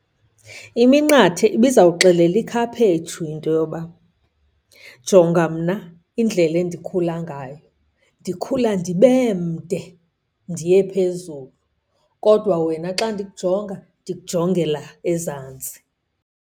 Iminqathe ibizawuxelela ikhaphetshu into yoba, jonga mna indlela endikhula ngayo. Ndikhula ndibe mde ndiye phezulu kodwa wena xa ndikujonga, ndikujongela ezantsi.